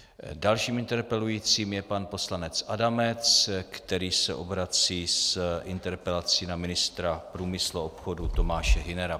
Dalším interpelujícím je pan poslanec Adamec, který se obrací s interpelací na ministra průmyslu a obchodu Tomáše Hünera.